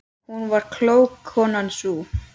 Hún var klók, konan sú.